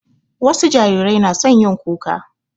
Wasu jarirai na son yin kuka.